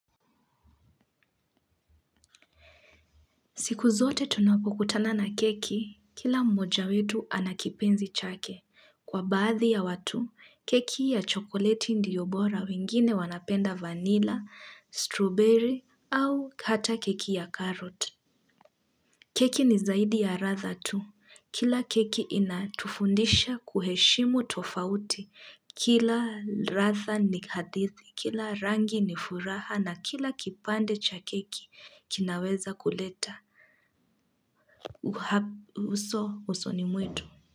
Siku zote tunapokutana na keki, kila mmoja wetu anakipenzi chake. Kwa baadhi ya watu, keki ya chokoleti ndiyo bora wengine wanapenda vanila, strawberry au hata keki ya carrot. Keki ni zaidi ya ratha tu. Kila keki inatufundisha kuheshimu tofauti. Kila ratha ni hadithi, kila rangi ni furaha na kila kipande cha keki kinaweza kuleta. Uha, uso, uso ni mwetu.